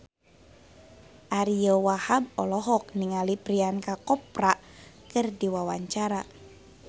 Ariyo Wahab olohok ningali Priyanka Chopra keur diwawancara